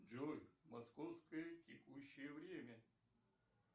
джой московское текущее время